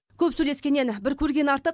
көп сөйлескеннен бір көрген артық